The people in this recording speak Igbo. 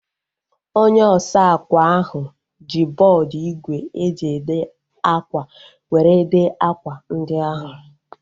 Onye osa akwa ahu ji bọọdu igwe e ji ede akwa were dee akwa ndi ahu